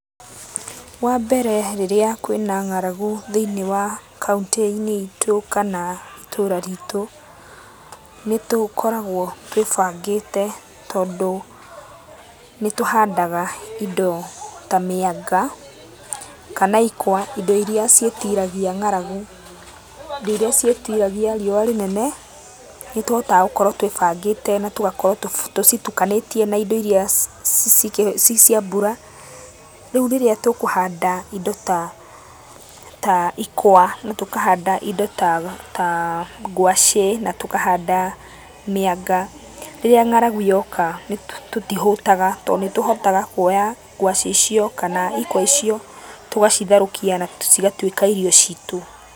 Wambere rĩrĩa kwĩna ng'aragu thĩiniĩ wa kauntĩ-inĩ itũ kana itũra ritũ nĩ tũkoragwo twĩbangĩte tondũ nĩ tũhandaga indo ta mĩanga, kana ikwa, indo irĩa ciĩtiragia ngaragu, indo irĩa ciĩtiragio riũa rĩnene, nĩ tũhotaga gũkorwo twĩbangĩte na tũgakorwo tũcitukanĩtie na indo irĩa cicia mbura. Rĩu rĩrĩa tũkũhanda indo ta ikwa na tũkahanda indo ta ta ngwaci na tũkanada mĩanga, rĩrĩa ng'aragu yoka tũtihũtaga tondũ nĩ tũhotaga kuoya ngwaci icio kana ikwa icio tũgacitherũkia na cigatuĩka irio citũ.